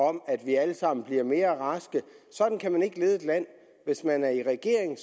om at vi alle sammen bliver mere raske sådan kan man ikke lede et land hvis man er i regering